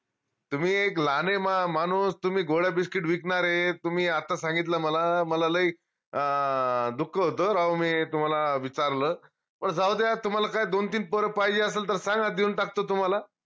तुम्ही एक लाहाने मानूस तुम्ही गोळ्या biscuit विकनारे तुम्ही आता सांगितलं मला मला लई अं दुःख होत हो राव मी तुम्हाला विचारल जाऊद्या तुम्हाला काय दोन तीन पोर पाहिजे असलं तर सांगा देऊन टाकतो तुम्हाला